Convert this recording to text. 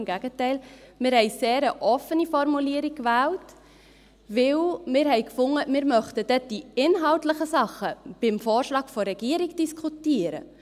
Im Gegenteil, wir haben eine sehr offene Formulierung gewählt, weil wir gefunden haben, wir möchten dann die inhaltlichen Dinge beim Vorschlag der Regierung diskutieren.